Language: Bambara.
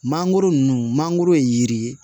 Mangoro ninnu mangoro ye yiri ye